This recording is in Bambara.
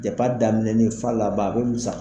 Depi daminɛnin f'a laban a bɛ musa